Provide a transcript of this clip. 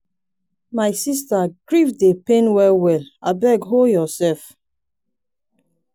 my sister grief dey pain well well abeg hol yoursef.